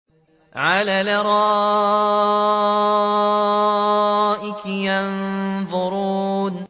عَلَى الْأَرَائِكِ يَنظُرُونَ